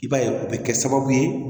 I b'a ye o bɛ kɛ sababu ye